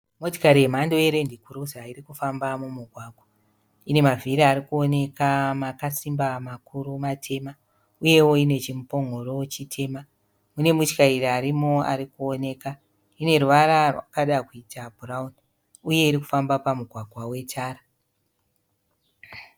Motikari yemhando ye(land cruiser) irikufamba mumugwangwa, inemavhiri arikuoneka akasimba makuru matema uyewo ine chimupongoro chitema ine mutyairi arimo arikuoneka ine ruvara rwakada kuita bhurauni, uye irikufamba pamugwagwa wetara